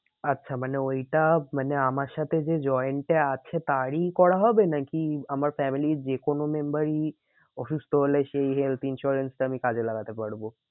আচ্ছা মানে ওইটা মানে আমার সাথে যে joined এ আছে তারই করা হবে নাকি আমার family র যে কোনো member ই অসুস্থ হলে সেই health insurance টা আমি কাজে লাগাতে পারবো?